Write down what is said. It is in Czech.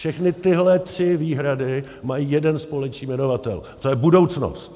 Všechny tyhle tři výhrady mají jeden společný jmenovatel - to je budoucnost.